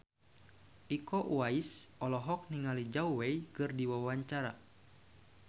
Iko Uwais olohok ningali Zhao Wei keur diwawancara